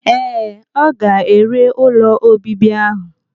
Ee, ọ ga-ere ụlọ obibi ahụ.